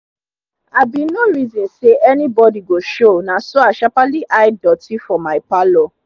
i bin nor reson say any bodi go show naso i sharperly hide doti for mi parlour